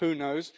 Who knows?